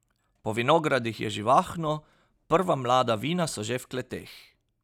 Po vinogradih je živahno, prva mlada vina so že v kleteh.